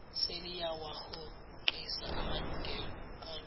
seliyawahoxisa amalungelo alo